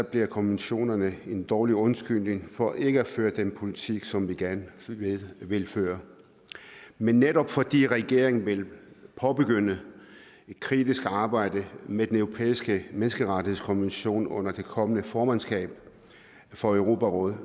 bliver konventionerne en dårlig undskyldning for ikke at føre den politik som vi gerne vil føre men netop fordi regeringen vil påbegynde et kritisk arbejde med den europæiske menneskerettighedskonvention under det kommende formandskab for europarådet